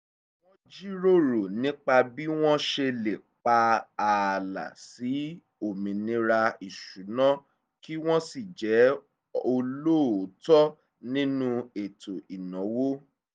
wọ́n jíròrò nípa bí wọ́n ṣe lè pa ààlà sí òmìnira ìṣúná kí wọ́n sì jẹ́ olóòótọ́ nínú ètò ìnáwó